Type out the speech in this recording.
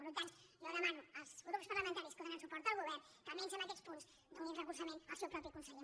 per tant jo demano als grups parlamentaris que donen suport al govern que almenys en aquests punts donin recolzament al seu propi conseller